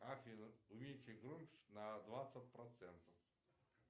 афина уменьшить громкость на двадцать процентов